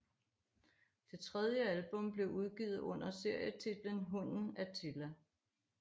Det tredje album blev udgivet under serietitlen Hunden Attila